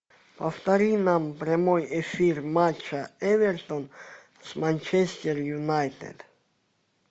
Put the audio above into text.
повтори нам прямой эфир матча эвертон с манчестер юнайтед